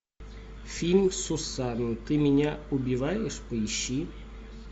фильм сусана ты меня убиваешь поищи